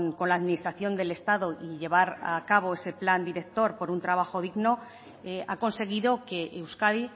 con la administración del estado y llevar a cabo ese plan director por un trabajo digno ha conseguido que euskadi